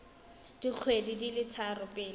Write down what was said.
dikgwedi di le tharo pele